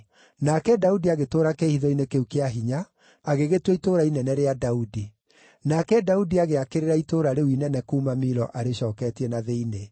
Nake Daudi agĩtũũra kĩĩhitho-inĩ kĩu kĩa hinya, agĩgĩtua itũũra inene rĩa Daudi. Nake Daudi agĩakĩrĩra itũũra rĩu inene kuuma Milo arĩcooketie na thĩinĩ.